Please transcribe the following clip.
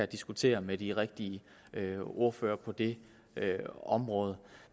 diskutere med de rigtige ordførere på det område